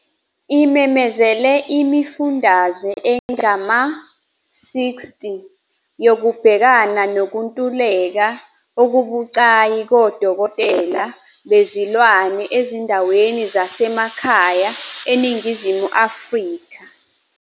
Imemezele imifundaze engama-60 yokubhekana nokuntuleka okubucayi kodokotela bezilwane ezindaweni zasemakhaya eNingizimu Afrika.